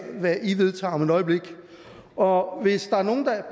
hvad i vedtager om et øjeblik og hvis der er nogen der